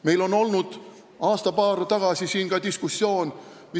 Meil oli aasta-paar tagasi ka diskussioon meie lipu üle.